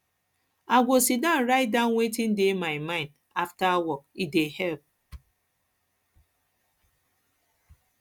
i go sidon write down wetin dey my mind after work e dey help